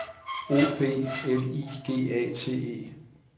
O B L I G A T E